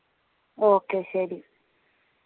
okay ശെരി